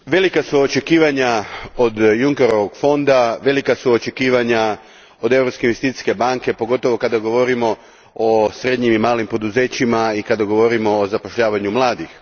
Gospodine predsjedniče, velika su očekivanja od Junckerovog fonda, velika su očekivanja od Europske investicijske banke, pogotovo kada govorimo o srednjim i malim poduzećima i kada govorimo o zapošljavanju mladih.